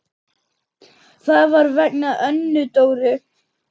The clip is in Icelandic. Það var vegna Önnu Dóru.